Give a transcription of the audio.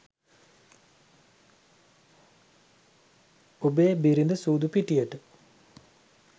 ඔබේ බිරිඳ සූදු පිටියට